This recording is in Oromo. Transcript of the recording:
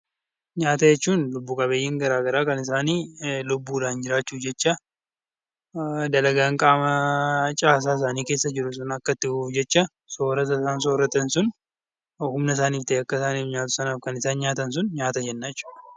Nyaata jechuun kan lubbu qabeeyyiin garaagaraa lubbuudhaan jiraachuudhaaf jecha , dalagaan qaama caasaa isaanii akka itti fufuuf jecha , soorrata isaan soorratan sun, humna isaan akka ta'uuf kan isaan nyaatan sun nyaata jenna.